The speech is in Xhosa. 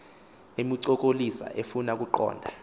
emncokolisa efuna ukuqonda